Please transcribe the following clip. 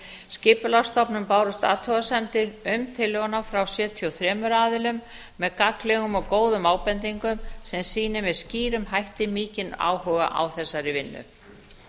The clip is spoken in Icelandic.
skipulagsstofnun bárust athugasemdir um tillöguna frá sjötíu og þremur aðilum með gagnlegum og góðum ábendingum sem sýni með skýrum hætti mikinn áhuga á þessari vinnu